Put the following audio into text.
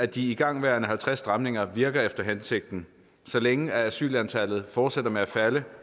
de igangværende halvtreds stramninger virker efter hensigten så længe asylantallet fortsætter med at falde